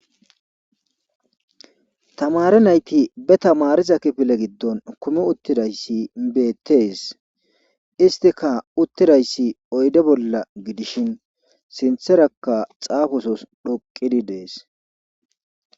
Tamaare nayti ba tamaariza kifile giddon kumi uttidayssi beetes istika uttidayssi oyde bolla gidishin sintherakka xaafosos dhoqqidi des.